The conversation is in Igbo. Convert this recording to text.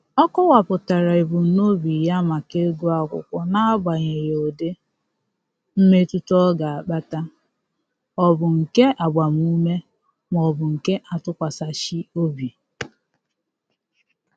Ọ kọwapụtara ebumnobi ya maka ịgụ akwụkwọ na-amaghị ụdị mmetụta ọ ga-akpata ọ bụ nke agbamume maọbụ nke atụkwasachị obi.